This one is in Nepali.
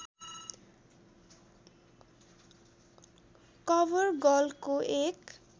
कभरगर्लको एक